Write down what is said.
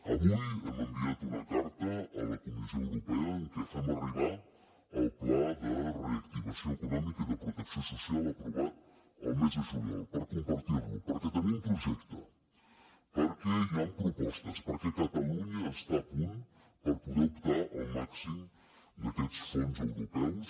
avui hem enviat una carta a la comissió europea en què fem arribar el pla de reactivació econòmica i de protecció social aprovat el mes de juliol per compartir lo perquè tenim projecte perquè hi han propostes perquè catalunya està a punt per poder optar al màxim d’aquests fons europeus